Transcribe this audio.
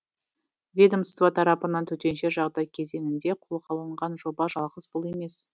ведмоство тарапынан төтенше жағдай кезеңінде қолға алынған жоба жалғыз бұл емес